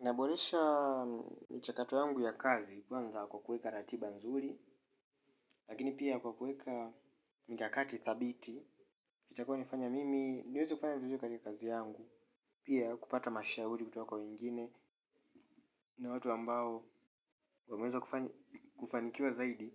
Naboresha michakato yangu ya kazi kwanza kwa kuweka ratiba nzuri lakini pia kwa kuweka mikakati thabiti itakayonifanya mimi niweze kufanya vizuri kwenye kazi yangu pia kupata mashauri kutoka kwa wengine na watu ambao wameeza kufanikiwa zaidi